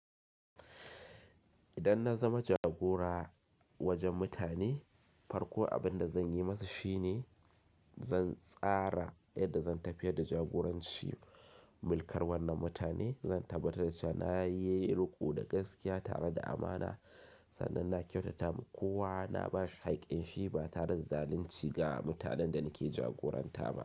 Idan na zama jagora wajen mutane, farko abin da zan yi musu shi ne zan tsara yadda zan tafiyar da jagoranci mulkar wannan mutane. Zan tabbatar da cewa na yi riko da gaskiya tare da amana sannan na kyautata wa kowa na ba shi haƙƙin shi ba tare da zalunci ga mutanen da nake jagoranta ba.